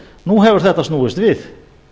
nú hefur þetta snúist við